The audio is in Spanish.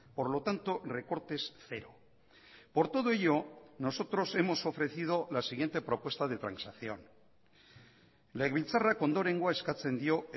por lo tanto recortes cero por todo ello nosotros hemos ofrecido la siguiente propuesta de transacción legebiltzarrak ondorengoa eskatzen dio